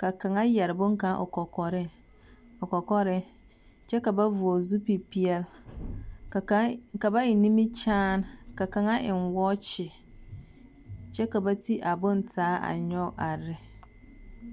Ka kaŋa yɛre boŋkaŋa o kɔkɔrɛ, o kɔkɔrɛɛ, kyɛ ka ba vɔgle zupilpeɛl. Ka kaŋ ka ba eŋ nimikyaan, ka kaŋa eŋ wɔɔkye kyɛ ka ba ti a bontaa a nyɔge arre.